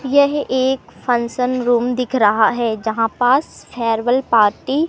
यह एक function room दिख रहा है जहां पास फेयरवेल पार्टी --